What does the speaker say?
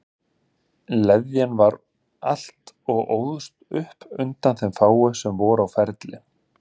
Leðjan var um allt og óðst upp undan þeim fáu sem voru á ferli.